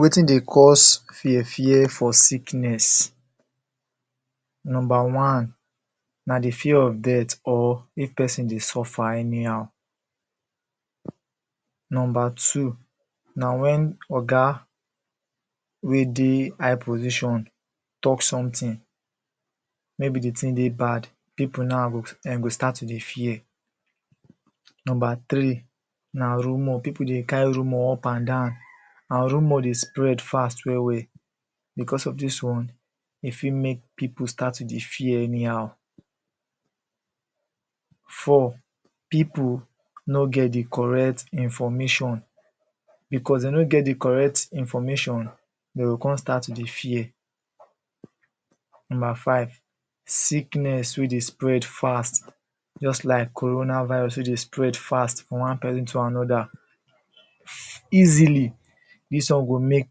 Wetin dey cause fear fear for sickness number one; na de fear of death or if person dey suffer anyhow number two na wen oga wey dey high position talk sometin maybe de tin dey bad people now, dem go start to dey fear number three na rumour; people dey carry rumour up and down and rumour dey spread fast well well because of dis one e fit make people start to dey fear anyhow four; people no get de correct information because dey no get de correct information, dey go come start to dey fear number five; sickness wey dey spread fast just like corona virus wey dey spread fast from one person to anoda easily dis one go make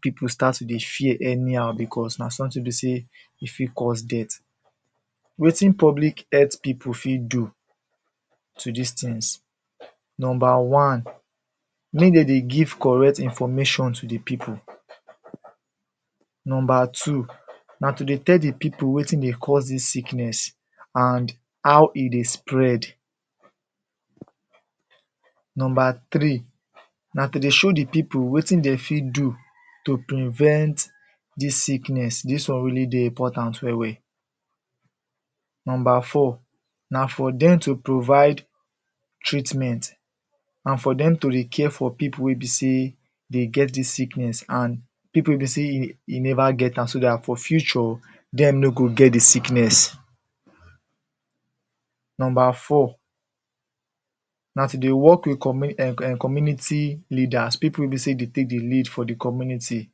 people start to dey fear anyhow because na sometin wey be sey E fit cause death wetin public health people fit do to dis tins number one; make dem dey give correct information to de people number two na to dey tell de people wetin dey cause dis sickness and how e dey spread number three; na to dey show de people wetin dey fit do to prevent dis sickness. Dis one really dey important well well number four; na for dem to provide treatment and for dem to dey care for people wey be sey dey get dis sickness and people wey be sey e never get am, so dat for future dem no go get dey sickness number four; na to dey work wit community leaders, people wey be sey dey take de lead for de community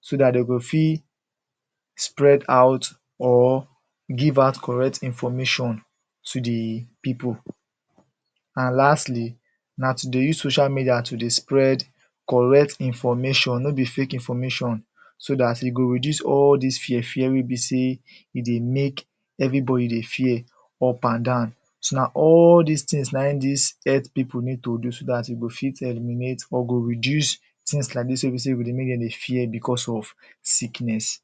so dat dey go fit spread out or give out correct information to de people and lastly na to dey use social media to dey spread correct information, no be fake information so dat e go reduce all dis fear fear wey be sey e dey make everybody dey fear up and down so na all dis tins na it dis health people need to do so dat e go fit eliminate or go reduce tins like dis wey be sey e go dey make dem dey fear because of sickness.